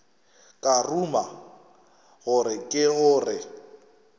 ka ruma gore ke gore